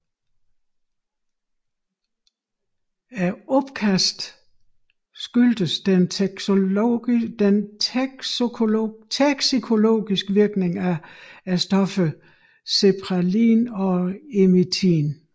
Opkastningen skyldes den toksikologisk virkning af stofferne cephaelin og emitin